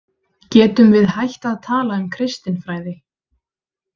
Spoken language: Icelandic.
Getum við hætt að tala um kristinfræði?